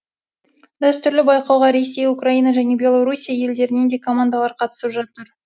дәстүрлі байқауға ресей украина және белорусия елдерінен де командалар қатысып жатыр